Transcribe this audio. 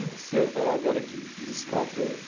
E o senhor vai falar agora aqui dos quatro.